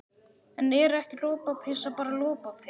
En er ekki lopapeysa bara lopapeysa?